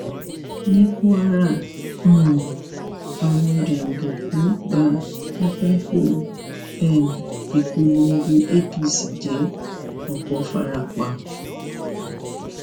ni kwara um àwọn jàǹdùkú bá pátákó um ìpolongo apc jẹ ọpọ fara pa